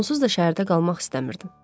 Onsuz da şəhərdə qalmaq istəmirdim.